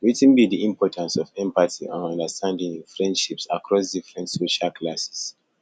wetin be di importance of empathy and understanding in friendships across different social classes